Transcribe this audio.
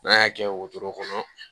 N'an y'a kɛ wotoro kɔnɔ